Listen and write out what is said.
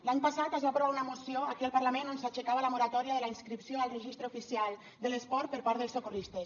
l’any passat es va aprovar una moció aquí al parlament on s’aixecava la moratòria de la inscripció al registre oficial de l’esport per part dels socorristes